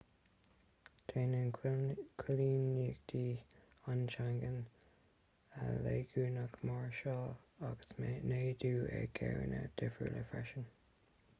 déanann coilíneachtaí an tseangáin léigiúnaigh máirseáil agus neadú i gcéimeanna difriúla freisin